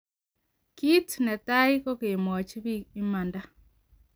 Kit ne tai ko kemwachi bik imanda.